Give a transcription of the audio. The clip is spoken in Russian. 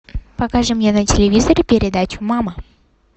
покажи мне на телевизоре передачу мама